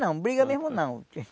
Não, briga mesmo não.